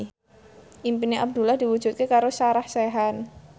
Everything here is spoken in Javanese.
impine Abdullah diwujudke karo Sarah Sechan